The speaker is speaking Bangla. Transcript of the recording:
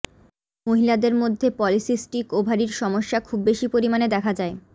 মহিলাদের মধ্যে পলিসিস্টিক ওভারির সমস্যা খুব বেশি পরিমাণে দেখা যায়